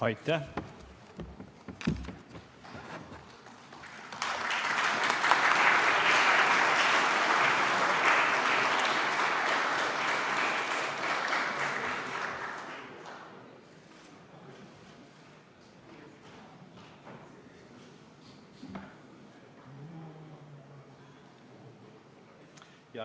Aitäh!